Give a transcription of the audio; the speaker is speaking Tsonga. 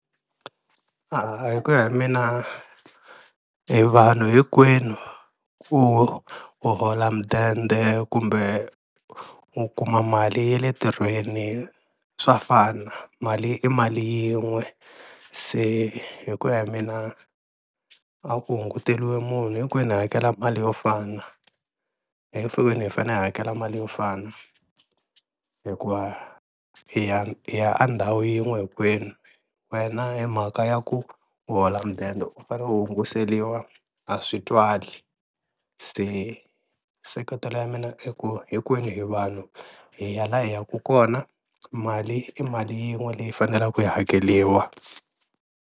A hi ku ya hi mina hi vanhu hinkwenu ku u hola mudende kumbe u kuma mali ya le ntirhweni swa fana mali i mali yin'we, se hi ku ya hi mina a ku hunguteriwi munhu hinkwenu hi hakela mali yo fana, hi fanele hi hakela mali yo fana hikuva hi ya hi ya a ndhawu yin'we hinkwenu, wena hi mhaka ya ku u hola mudende u fane u hunguseliwa a swi twali, se seketelo ya mina i ku hinkwenu hi vanhu hi ya laha hi yaka kona mali i mali yin'we leyi fanelaku yi hakeriwa.